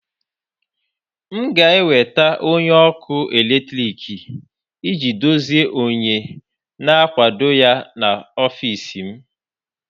M ga-enweta onye ọkụ eletrik iji dozie onye na-akwado ya n'ọfịs m